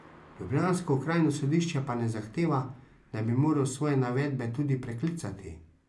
Ljubljansko okrajno sodišče pa ne zahteva, da bi moral svoje navedbe tudi preklicati.